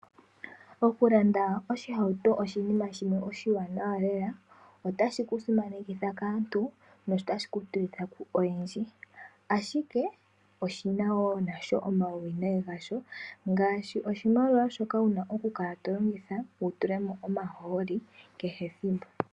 Okulanda oshihauto oshinima oshiwanana lela. Otashi ku simanekitha kaantu, notashi ku tilitha koyendji, ashike oshina wo omauwinayi gasho, ngaashi oshimaliwa shono wuna okukala to longitha wu tulemo omahooli kehe ethimbo.